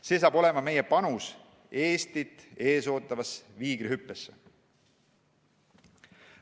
See saab olema meie panus Eestit ees ootavasse viigrihüppesse.